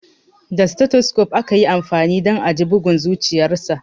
Da stethoscope aka yi amfani don a ji bugun zuciyarsa.